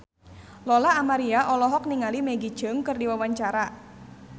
Lola Amaria olohok ningali Maggie Cheung keur diwawancara